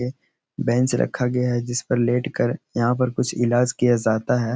यह बेंच रखा गया है। जिस पर लेट कर यहाँ पर कुछ इलाज किया जाता है।